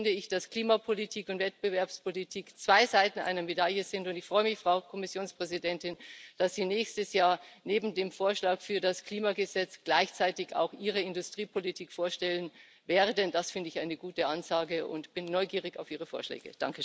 Deshalb finde ich, dass Klimapolitik und Wettbewerbspolitik zwei Seiten einer Medaille sind, und ich freue mich, Frau Kommissionspräsidentin, dass Sie nächstes Jahr neben dem Vorschlag für das Klimagesetz gleichzeitig auch Ihre Industriepolitik vorstellen werden, das finde ich eine gute Ansage und bin neugierig auf Ihre Vorschläge.